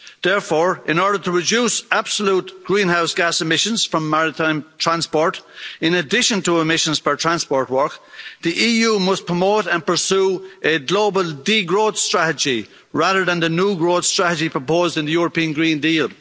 Therefore, in order to reduce absolute greenhouse gas emissions from maritime transport, in addition to emissions per transport work, the EU must promote and pursue a global de growth strategy rather than the new growth strategy proposed in the European Green Deal.